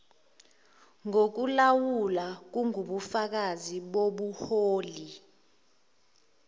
ngokulawula kungubufakazi bobuholi